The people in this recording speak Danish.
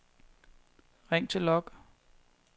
ring til log